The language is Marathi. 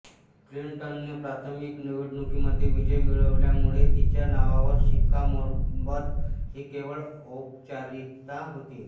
क्लिंटनने प्राथमिक निवडणुकीमध्ये विजय मिळवल्यामुळे तिच्या नावावर शिक्कामोर्तब ही केवळ औपचारिकता होती